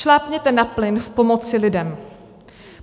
Šlápněte na plyn v pomoci lidem.